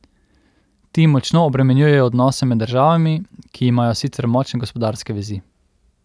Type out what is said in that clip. Ti močno obremenjujejo odnose med državami, ki imajo sicer močne gospodarske vezi.